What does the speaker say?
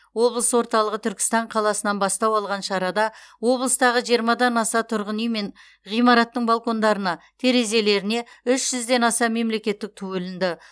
облыс орталығы түркістан қаласынан бастау алған шарада облыстағы жиырмадан аса тұрғын үй мен ғимараттың балкондарына терезелеріне үш жүзден аса мемлекеттік ту ілінді